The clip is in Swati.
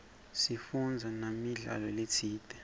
sifundze namidlalo letsite